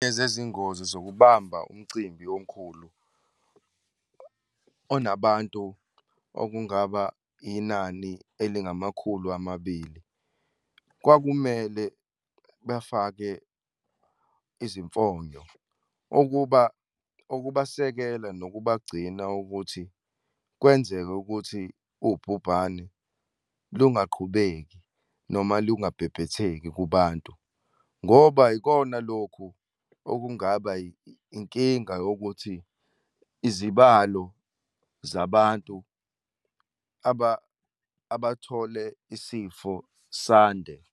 Ezezingozi zokuhamba umcimbi omkhulu, onabantu okungaba inani elingamakhulu amabili, kwakumele bafake izimfonyo okubasekela nokubagcina ukuthi kwenzeke ukuthi ubhubhane lungaqhubeki, noma lungabhebhetheki kubantu, ngoba yikona lokhu okungaba inkinga yokuthi izibalo zabantu abathole isifo sande.